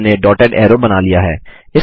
हमने dotted arrow बना लिया है